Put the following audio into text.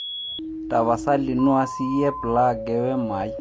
tapasali nua siiyie ee plag ee wemo ai